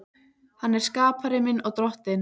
Hann er skapari minn og Drottinn.